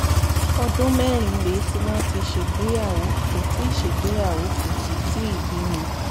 ọdún mẹ́rin rèé tí wọ́n ti ṣègbéyàwó kò ti ṣègbéyàwó kò sì tíì bímọ